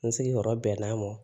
N sigiyɔrɔ bɛnna mo